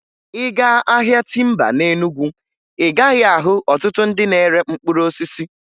Ị gaa ahịa timba na Enugu, ị gaghị ahụ ọtụtụ ndị na-ere mkpụrụ osisi